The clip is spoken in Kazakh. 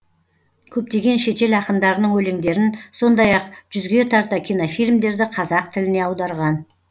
көптеген шетел ақындарының өлеңдерін сондай ақ жүзге тарта кинофильмдерді қазақ тіліне аударған